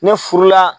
Ne furu la